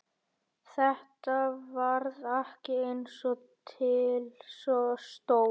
Þetta varð ekki eins og til stóð.